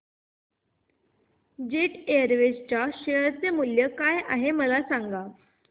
jet Airways च्या share चे मूल्य काय आहे मला सांगा